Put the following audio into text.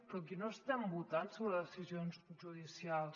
però aquí no estem votant sobre decisions judicials